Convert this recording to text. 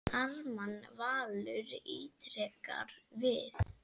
Ármann Valur ítrekar við